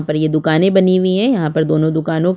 और ये दुकाने बनी हुई है यहाँ पर दोनों दुकानों--